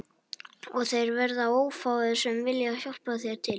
Og þeir verða ófáir sem vilja hjálpa þér til